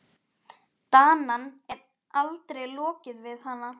Danann, en aldrei lokið við hana.